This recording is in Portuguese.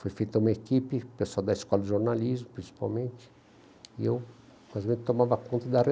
Foi feita uma equipe, pessoal da escola de jornalismo, principalmente, e eu quase mesmo tomava conta da